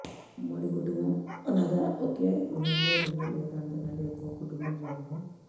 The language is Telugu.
ఉమ్మడి కుటుంబం అనగా ఒకే గృహంలో రెండు లేక అంతకంటే ఎక్కువ కుటుంబాల సమూహం